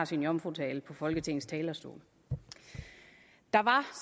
sin jomfrutale på folketingets talerstol der var